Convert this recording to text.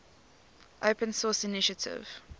open source initiative